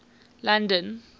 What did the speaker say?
london